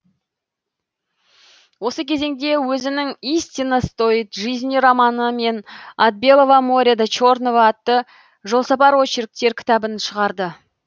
осы кезеңде өзінің истина стоит жизни романы мен от белого моря до черного атты жолсапар очерктер кітабын шығарды